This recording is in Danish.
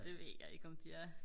det ved jeg ikke om de er